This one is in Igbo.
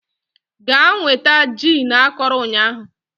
Gaa nweta gin akọrọ ụnyahụ